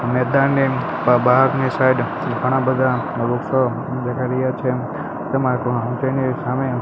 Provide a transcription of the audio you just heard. મેદાનની બ-બહારની સાઇડ ઘણા બધા વૃક્ષો છે